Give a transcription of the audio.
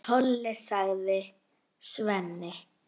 Hann Tolli, sagði Svenni.